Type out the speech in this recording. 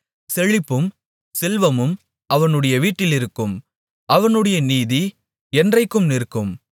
செழிப்பும் செல்வமும் அவனுடைய வீட்டிலிருக்கும் அவனுடைய நீதி என்றைக்கும் நிற்கும்